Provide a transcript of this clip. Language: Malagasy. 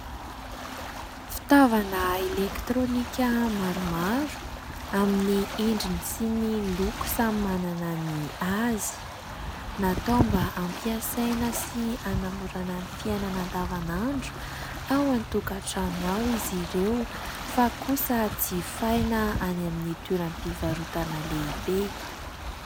Fitaovana elektrônika maromaro amin'ny endriny sy ny loko samy manana ny azy. Natao mba ampiasaina sy hanamorana ny fiainana andavanandro ao an-tokatrano ao izy ireo fa kosa jifaina any amin'ny toeram-pivarotana lehibe.